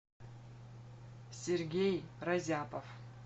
сергей разяпов